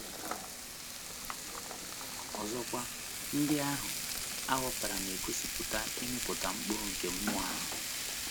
Ọzọkwa, ndị ahụ a họpụtara na - egosipụta ịmịpụta mkpụrụ nke mmụọ ahụ.